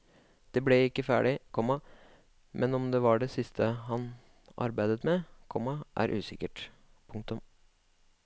Det ble ikke ferdig, komma men om det var det siste han arbeidet med, komma er usikkert. punktum